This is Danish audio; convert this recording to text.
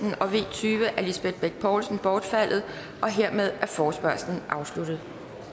tyve af lisbeth bech poulsen bortfaldet dermed er forespørgslen afsluttet